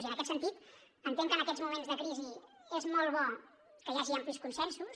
i en aquest sentit entenc que en aquests moments de crisi és molt bo que hi hagi amplis consensos